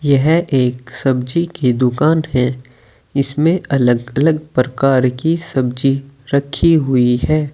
यह एक सब्जी की दुकान है इसमें अलग अलग प्रकार की सब्जी रखी हुई है।